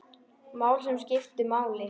Mál, sem skiptu máli.